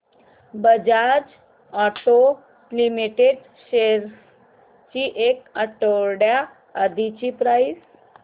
Bajaj auto limited shares ची एक आठवड्या आधीची प्राइस